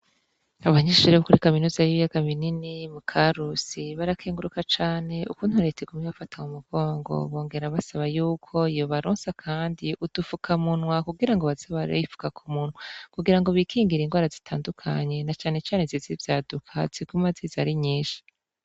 Abanyishijrebukuri kaminoza y'ibiyagaminini mu ka rusi barakenguruka cane ukuntureta ikume bafatamu mugongo bongera basaba yuko iyo balonsa, kandi udufuka muntwa kugira ngo bazabarbifuka ku muntwa kugira ngo bikingira ingoara zitandukanye na canecane ziza ivyaduka ziguma aziza ari nyinshi.